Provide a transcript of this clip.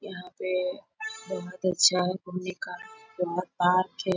यहाँ पे बहुत ही अच्छा घुमने का बड़ा पार्क है।